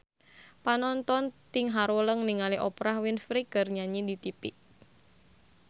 Panonton ting haruleng ningali Oprah Winfrey keur nyanyi di tipi